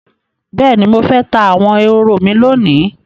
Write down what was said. Bẹ́ẹ̀ni, mo fẹ́ ta àwọn ehoro mi lónìí